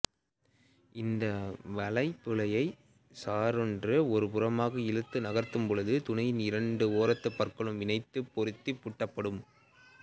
இந்த வளைபுழையை சர்ரென்று ஒரு புறமாக இழுத்து நகர்த்தும் பொழுது துணியின் இரண்டு ஓரத்துப் பற்களும் இணைந்து பொருந்தி பூட்டப்படும்